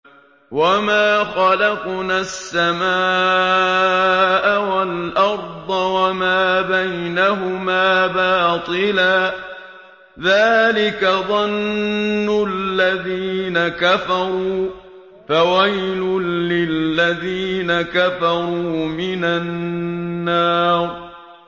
وَمَا خَلَقْنَا السَّمَاءَ وَالْأَرْضَ وَمَا بَيْنَهُمَا بَاطِلًا ۚ ذَٰلِكَ ظَنُّ الَّذِينَ كَفَرُوا ۚ فَوَيْلٌ لِّلَّذِينَ كَفَرُوا مِنَ النَّارِ